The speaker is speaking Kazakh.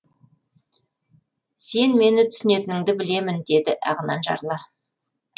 сен мені түсінетініңді білемін деді ағынан жарыла